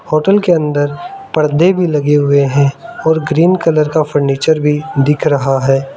Hotel के अंदर पर्दे भी लगे हुए हैं और ग्रीन कलर का फर्नीचर भी दिख रहा है।